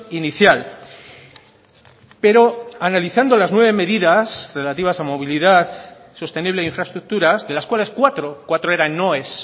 inicial pero analizando las nueve medidas relativas a movilidad sostenible e infraestructuras de las cuales cuatro cuatro eran noes